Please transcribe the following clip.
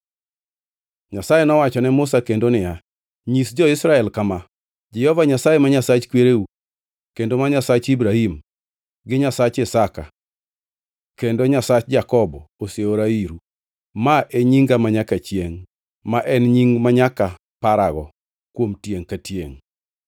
Nyasaye nowacho ne Musa kendo niya, “Nyis jo-Israel kama, ‘Jehova Nyasaye ma Nyasach kwereu, kendo ma Nyasach Ibrahim gi Nyasach Isaka kendo Nyasach Jakobo; oseora iru.’ “Ma e nyinga manyaka chiengʼ, ma en nying manyaka parago, kuom tiengʼ ka tiengʼ.